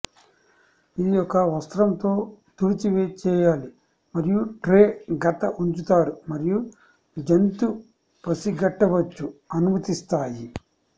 ఇది ఒక వస్త్రం తో తుడిచి చేయాలి మరియు ట్రే గత ఉంచుతారు మరియు జంతు పసిగట్టవచ్చు అనుమతిస్తాయి